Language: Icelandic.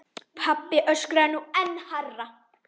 Pabbi öskraði nú enn hærra.